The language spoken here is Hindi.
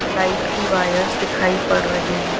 लाइट की वायरस दिखाई पड़ रही हैं।